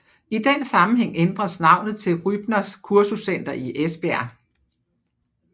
I den sammenhæng ændres navnet til Rybners Kursuscenter i Esbjerg